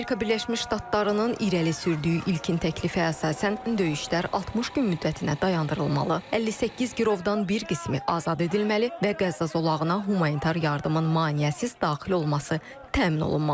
Amerika Birləşmiş Ştatlarının irəli sürdüyü ilkin təklifə əsasən döyüşlər 60 gün müddətinə dayandırılmalı, 58 girovdan bir qismi azad edilməli və Qəzza zolağına humanitar yardımın maneəsiz daxil olması təmin olunmalıdır.